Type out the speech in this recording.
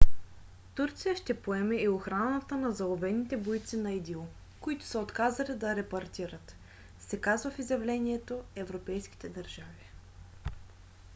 турция ще поеме и охраната на заловените бойци на идил които са отказали да репатрират се казва в изявлението европейските държави